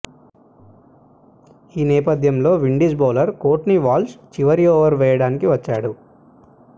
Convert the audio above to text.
ఈ నేపథ్యంలో Windies bowler Courtney Walsh చివరి ఓవర్ వేయడానికి వచ్చాడు